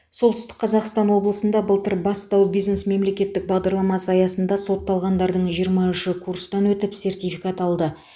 солтүстік қазақстан облысында былтыр бастау бизнес мемлекеттік бағдарламасы аясында сотталғандардың жиырма үші курстан өтіп сертификат алды